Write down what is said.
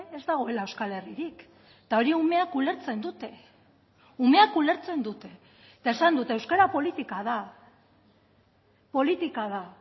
ez dagoela euskal herririk eta hori umeak ulertzen dute umeak ulertzen dute eta esan dut euskara politika da politika da